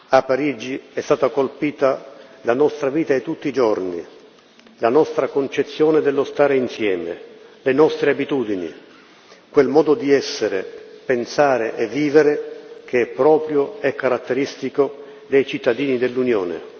A Parigi è stata colpita la nostra vita di tutti i giorni, la nostra concezione dello stare insieme, le nostre abitudini quel modo di essere, pensare e vivere che è proprio e caratteristico dei cittadini dell'Unione.